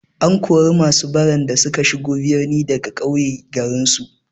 An kori masu baran da suka shigo birni daga ƙauye garinsu.